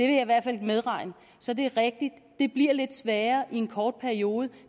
i hvert fald medregne så det er rigtigt at det bliver lidt sværere i en kort periode